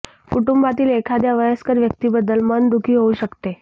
कुटुंबातील एखाद्या वयस्कर व्यक्तीबद्दल मन दुःखी होऊ शकते